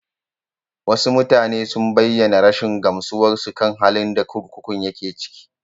Wasu mutane sun bayyana rashin gamsuwarsu kan halin da kurkukun yake ciki.